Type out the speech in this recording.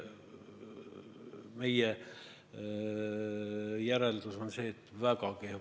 Meie järeldus on see, et väga kehv.